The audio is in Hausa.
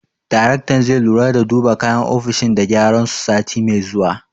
Daraktan zai lura da duba kayan ofishin da gyaran su, sati mai zuwa.